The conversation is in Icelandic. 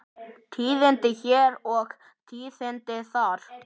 Tíðindi hér og tíðindi þar.